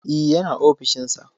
E, yana ofishin sa.